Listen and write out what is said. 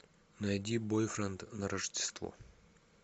найди бойфренд на рождество